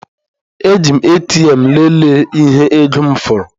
Eji m ATM lelee ihe ego m fọrọ.